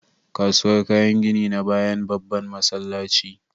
Kasuwar kayan gini na bayan babban masallaci